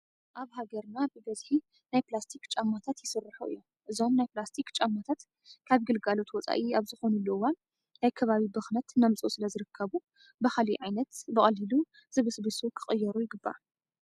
ኣብ ሃገርና ብበዝሒ ናይ ፕላስቲክ ጫማታት ይስርሑ እዮም። እዞም ናይ ፕላስቲክ ጫማታት ካብ ግልጋሎት ወፃኢ ኣብ ዝኾንሉ እዋን ናይ ከባቢ ብኽነት እናምፅኡ ስለዝርከቡ ብኻሊእ ዓይነት ብቀሊሉ ዝብስብሱ ክቅየሉ ይግባእ።